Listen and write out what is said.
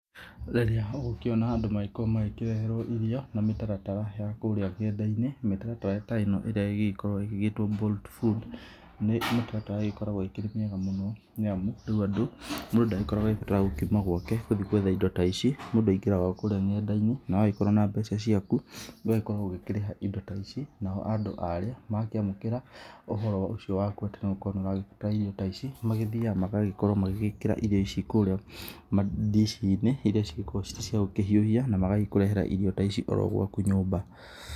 Rĩrĩa ũgũkĩona andũ magĩkorwo magĩkĩreherwo irio na mĩtaratara ya kũrĩa nenda-inĩ; mĩtaratara ta ĩno ĩrĩa ĩgĩgĩkoragwo ĩgĩgĩtwo Bolt Food, ni mĩtaratara ĩgĩkoragwo ĩkĩrĩ miega mũno. Nĩamu rĩu andũ, mũndũ ndagĩkoragwo agĩbatara gũkorwo akiuma gwake gũthiĩ gwetha indo ta ici. Mũndũ aingĩraga o kũrĩa nenda-inĩ. Na wagĩkorwo na mbeca ciaku, ugagĩkorwo ũgĩkĩrĩha indo ta ici. Nao andũ arĩa makĩamũkĩra ũhoro ũcio waku atĩ nĩũrakorwo ũgĩbatara irio ta ici, magĩthiaga magagĩkorwo magĩgĩkĩra irio ici kũrĩa ndici-inĩ, irio cigĩkoragwo cirĩ cia gũkĩhiũhia, na magagĩkũrehera irio ta ici oro gwaku nyũmba.